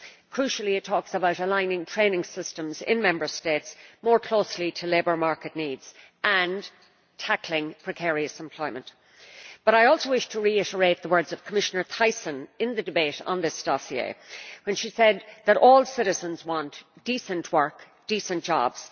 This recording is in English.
Crucially, it talks about aligning training systems in Member States more closely to labour market needs and tackling precarious employment. But I also wish to reiterate the words of Commissioner Thyssen in the debate on this dossier when she said that all citizens want decent work decent jobs